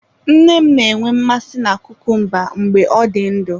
Nne m na-enwe mmasị na kukumba mgbe ọ dị ndụ.